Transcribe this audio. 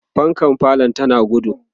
fankan falo tana gudu